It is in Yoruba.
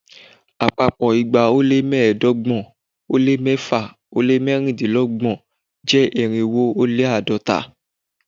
Àpapọ̀ igba ó lé mẹ́ẹ̀ẹ́dọ́gbọ̀n ó lé mẹ́fà ó lé mẹ́rìndínlọ́gbọ̀n jẹ́ irínwó ó lé àádọ́ta